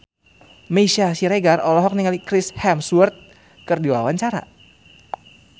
Meisya Siregar olohok ningali Chris Hemsworth keur diwawancara